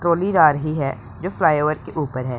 Trolley जा रही है जो फ्लाईओवर के ऊपर है।